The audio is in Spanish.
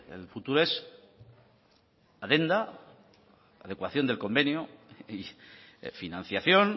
el futuro es adenda adecuación del convenio y financiación